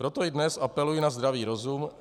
Proto i dnes apeluji na zdravý rozum.